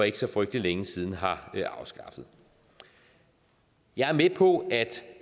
ikke så frygtelig længe siden har afskaffet jeg er med på